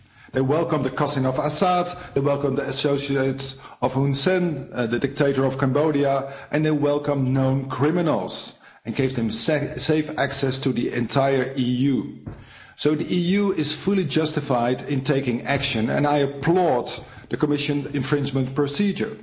They welcomed the cousin of Assad, they welcomed the associates of Hun Sen, the dictator of Cambodia, and they welcomed known criminals and gave them safe access to the entire EU, so the EU is fully justified in taking action, and I applaud the Commission's infringement procedure.